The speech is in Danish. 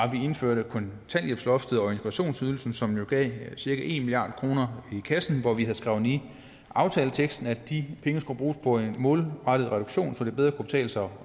indførte kontanthjælpsloftet og integrationsydelsen som jo gav cirka en milliard kroner i kassen og vi skrev ind i aftaleteksten at de penge skulle bruges på en målrettet reduktion så det bedre kan betale sig